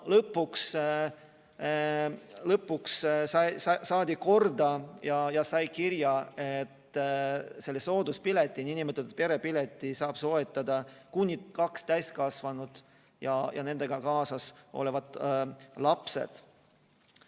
Lõpuks saadi need korda ja sai kirja, et selle nn perepileti saavad soetada kuni kaks täiskasvanut ja nendega kaasas olevad lapsed.